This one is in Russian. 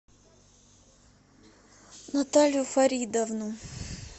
наталью фаридовну